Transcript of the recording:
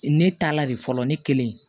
Ne taa la de fɔlɔ ne kelen